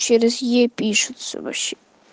через е пишется вообще